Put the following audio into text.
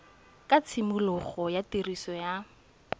ga tshimologo ya tiriso ya